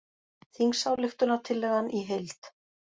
Þingsályktunartillagan í heild